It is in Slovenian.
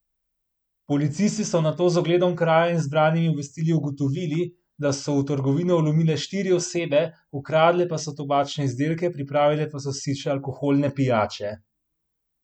Policisti so nato z ogledom kraja in zbranimi obvestili ugotovili, da so v trgovino vlomile štiri osebe, ukradle pa so tobačne izdelke, pripravile pa so si še alkoholne pijače.